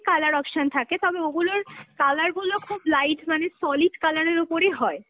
colour option থাকে, তবে ওগুলোর colour গুলো খুব light মানে, solid colour এর ওপরই হয়